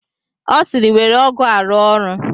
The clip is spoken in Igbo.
Ọ sịịrị, were ọgụ a rụọ ọrụ!